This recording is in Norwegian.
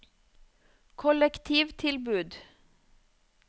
kollektivtilbud